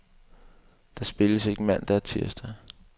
Der spilles ikke mandag og tirsdag.